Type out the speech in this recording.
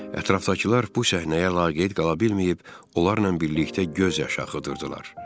Ətrafdakılar bu səhnəyə laqeyd qala bilməyib, onlarla birlikdə göz yaş axıdırdılar.